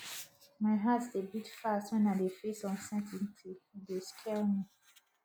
my heart dey beat fast wen i dey face uncertainty e dey scare me